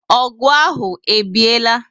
O gu ahụ o biela?